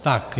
Tak.